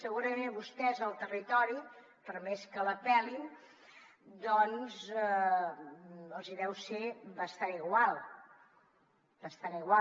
segurament a vostès el territori per més que l’apel·lin doncs els hi deu ser bastant igual bastant igual